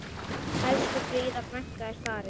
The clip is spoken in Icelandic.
Elsku Fríða frænka er farin.